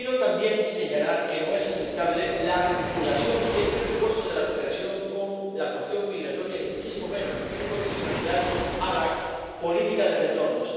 Pero quiero también señalar que no es aceptable la vinculación de este refuerzo de la cooperación a la cuestión migratoria, ni muchísimo menos su condicionalidad a la política de retornos.